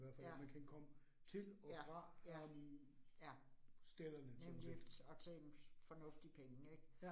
Ja. Ja, ja, ja, nemlig og til en fornuftig penge ik